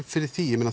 fyrir því